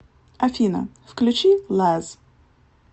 афина включи лаз